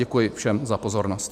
Děkuji všem za pozornost.